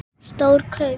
Stór kaup?